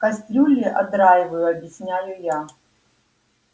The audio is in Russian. кастрюли отдраиваю объясняю я